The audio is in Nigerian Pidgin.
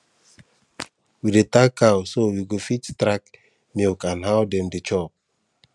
we dey tag cow so we go fit track milk and how dem dey chop